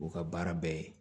U ka baara bɛɛ ye